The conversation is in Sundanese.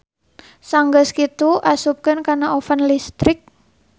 Sanggeus kitu asupkeun kana oven listrik.